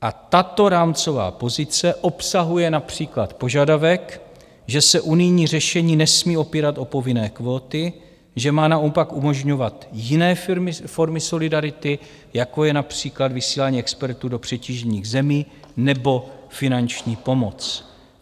A tato rámcová pozice obsahuje například požadavek, že se unijní řešení nesmí opírat o povinné kvóty, že má naopak umožňovat jiné formy solidarity, jako je například vysílání expertů do přetížených zemí nebo finanční pomoc.